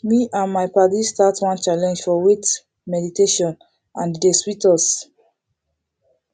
me and my paddies start one challenge for wait meditationand e dey sweet us